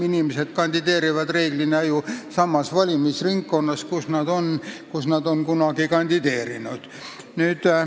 Inimesed kandideerivad reeglina ju samas valimisringkonnas, kus nad on varem kandideerinud.